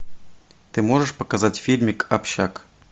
ты можешь показать фильмик общак